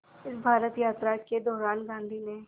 इस भारत यात्रा के दौरान गांधी ने